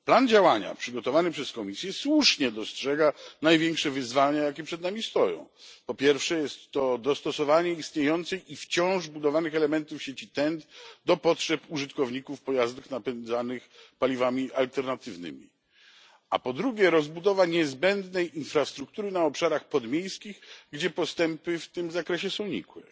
W planie działania przygotowanym przez Komisję słusznie dostrzeżono największe wyzwania, jakie przed nami stoją po pierwsze dostosowanie istniejących i wciąż budowanych elementów sieci TEN T do potrzeb użytkowników pojazdów napędzanych paliwami alternatywnymi, po drugie rozbudowa niezbędnej infrastruktury na obszarach podmiejskich, gdzie postępy w tym zakresie są nikłe.